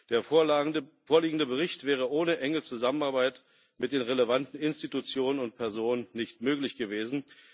Der vorliegende Bericht wäre ohne enge Zusammenarbeit mit den relevanten Institutionen und Personen nicht möglich gewesen.